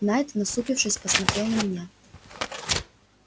найд насупившись поммотрел на меня